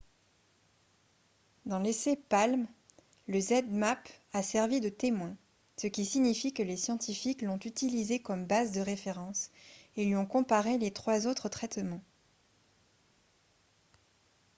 dans l'essai palm le zmapp a servi de témoin ce qui signifie que les scientifiques l'ont utilisé comme base de référence et lui ont comparé les trois autres traitements